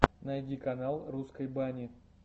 найди канал русской бани